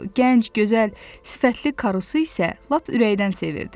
Gənc, gözəl sifətli karusu isə lap ürəkdən sevirdi.